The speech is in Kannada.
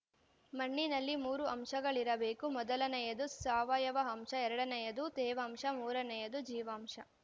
ಮಣ್ಣಿನಲ್ಲಿ ಮೂರು ಅಂಶಗಳಿರಬೇಕು ಮೊದಲನೆಯದು ಸಾವಯವ ಅಂಶ ಎರಡನೆಯದು ತೇವಾಂಶ ಮೂರನೆಯದು ಜೀವಾಂಶ